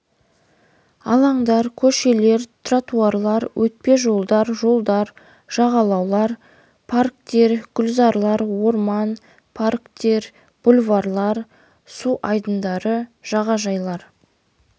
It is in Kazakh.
алаңдар көшелер тротуарлар өтпе жолдар жолдар жағалаулар парктер гүлзарлар орман парктер бульварлар су айдындары жағажайлар